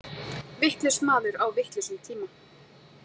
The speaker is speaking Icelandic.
Vitlaus maður á vitlausum tíma.